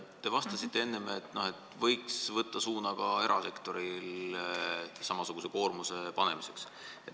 Te vastasite enne, et võiks võtta suuna ka sellele, et erasektorile samasugune koormus panna.